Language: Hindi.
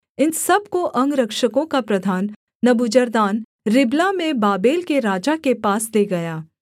इन सब को अंगरक्षकों का प्रधान नबूजरदान रिबला में बाबेल के राजा के पास ले गया